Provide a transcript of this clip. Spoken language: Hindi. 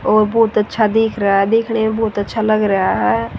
और बहुत अच्छा देख रहा है देखने में बहुत अच्छा लग रहा है।